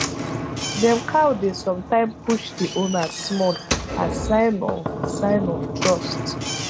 dem cow dey sometime push the owner small as sign of sign of trust